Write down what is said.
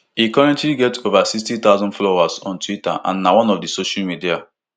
e currently get ova sixty thousand followers on twitter and na one of di social media